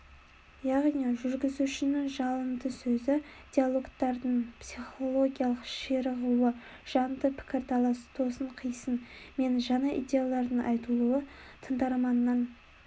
яғни жүргізушінің жалынды сөзі диалогтардың психологиялық ширығуы жанды пікірталас тосын қисын мен жаңа идеялардың айтылуы тыңдарманның